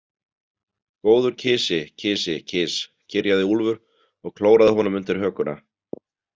Góður kisi, kisi, kis, kyrjaði Úlfur og klóraði honum undir hökuna.